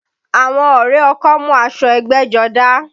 Àwọn ọrẹ ọkọ mú aṣọ ẹgbẹ́jọdá